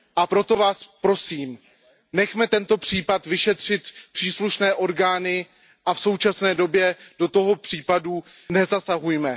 Proto vás prosím, nechme tento případ vyšetřit příslušné orgány a v současné době do toho případu nezasahujme.